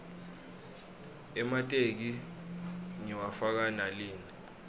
emateki ngiwafaka nalina